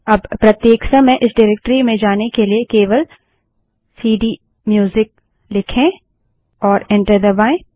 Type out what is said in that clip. अब प्रत्येक समय इस डाइरेक्टरी में जाने के लिए केवल सीडीम्यूजिक लिखें और एंटर दबायें